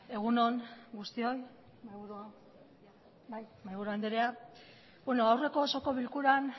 egun on guztioi mahaiburu andrea bueno aurreko osoko bilkuran